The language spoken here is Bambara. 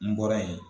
N bɔra yen